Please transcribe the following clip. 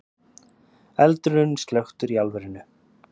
Eldurinn slökktur í álverinu